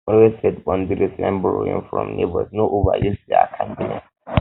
um always set um boundaries when borrowing from neighbors no overuse their um kindness